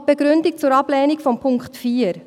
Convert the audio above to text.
Noch die Begründung zur Ablehnung von Punkt 4: